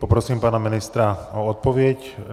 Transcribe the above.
Poprosím pana ministra o odpověď.